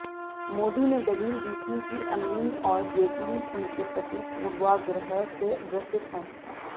मोदी ने दलील दी थी कि अमीन और जेटली उनके प्रति पूर्वाग्रह से ग्रसित हैं